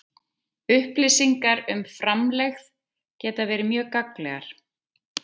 Upplýsingar um framlegð geta verið mjög gagnlegar.